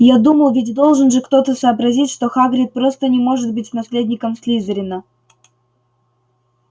я думал ведь должен же кто-то сообразить что хагрид просто не может быть наследником слизерина